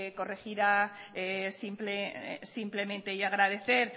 corregirá simplemente y agradecer